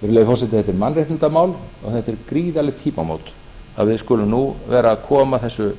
virðulegur forseti þetta er mannréttindamál og þetta eru gríðarleg tímamót að við skulum nú vera að koma þessu